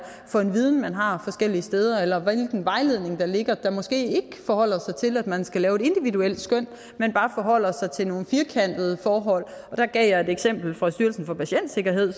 for en viden man har forskellige steder eller hvilken vejledning der ligger der måske ikke forholder sig til at man skal lave et individuelt skøn men bare forholder sig til nogle firkantede forhold og der gav jeg et konkret eksempel fra styrelsen for patientsikkerhed